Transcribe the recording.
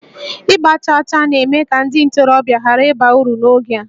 Ịgba chaa chaa na-eme ka ndị ntorobịa ghara ịba uru n'oge a